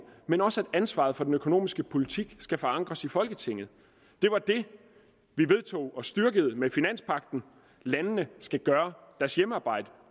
men også at ansvaret for den økonomiske politik skal forankres i folketinget det var det vi vedtog og styrkede med finanspagten landene skal gøre deres hjemmearbejde